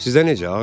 Sizdə necə?